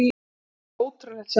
Svo ótrúlegt sem það er.